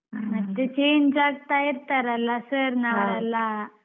ಮತ್ತೆ change ಆಗ್ತಾ ಇರ್ತಾರಲ್ಲ sir ಅವರೆಲ್ಲ.